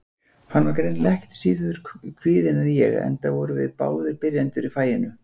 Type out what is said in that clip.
Hann var greinilega ekki síður kvíðinn en ég, enda vorum við báðir byrjendur í faginu.